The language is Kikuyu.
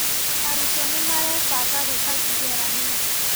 Arutwo nĩmarebanga gwĩka igeranio